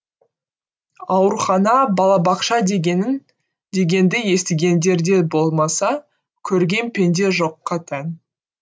аурухана балабақша дегенді естігендері болмаса көрген пенде жоққа тән